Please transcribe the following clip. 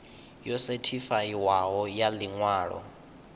yo sethifaiwaho ya ḽi ṅwalo